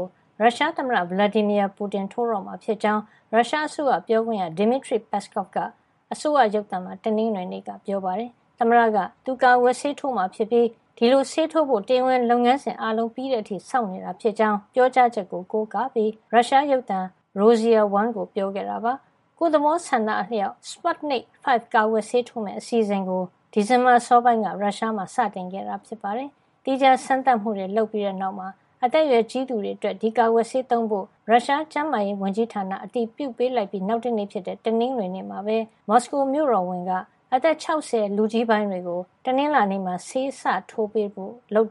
ု ရုရှားသမ္မတ Vladimir Putin ထိုးတော့မှာဖြစ်ကြောင်း ရုရှားအစိုးရပြောခွင့်ရ Dmitry Peskov က ရုရှားအစိုးရရုပ်သံမှာ တနင်္ဂနွေနေ့က ပြောပါတယ်။ သမ္မတက သူ ကာကွယ်ဆေးထိုးမှာဖြစ်ပြီး ဒီလိုဆေးထိုးဖို့အတွက် တရားဝင် လုပ်ငန်းစဉ်အားလုံး ပြီးစီးတဲ့အထိ စောင့်ဆိုင်းနေတာဖြစ်ကြောင်း ပြောကြားချက်ကို ကိုးကားပြီး Peskov က ရုရှားရုပ်သံ Rossiya 1 ကို ပြောခဲ့တာပါ။ ကိုယ့်သဘောဆန္ဒအလျောက် Sputnik V ကာကွယ်ဆေးထိုးမယ့် အစီအစဉ်ကို ဒီဇင်ဘာလ အစောပိုင်းက ရုရှားမှာ စတင်ခဲ့တာ ဖြစ်ပါတယ်။ သီးခြားစမ်းသပ်မှုတွေ လုပ်ပြီးတဲ့နောက် အသက်ရွယ်ကြီးသူတွေအတွက် ဒီကာကွယ်ဆေးသုံးဖို့ ရုရှားကျန်းမာရေးဝန်ကြီးဌာနက အတည်ပြုပေးလိုက်ပြီး နောက်တနေ့ဖြစ်တဲ့ တနင်္ဂနွေနေ့မှာပဲ မော်စကိုမြို့တော်ဝန် Sergei Sobyanin က အသက် ၆၀ အထက် လူကြီးပိုင်းတွေကို တနင်္လာနေ့မှာ ဆေးစထိုးပေးဖို့ လုပ်